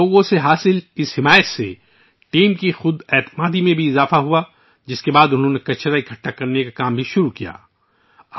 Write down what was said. لوگوں سے ملنے والے تعاون سے ٹیم کے اعتماد میں اضافہ ہوا ، جس کے بعد انہوں نے کچرا اٹھانے کا کام بھی شروع کر دیا